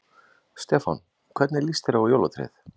Stefán: Hvernig líst þér á jólatréð?